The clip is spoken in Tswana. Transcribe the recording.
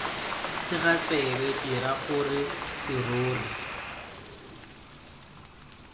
sega tsebe dira gore serori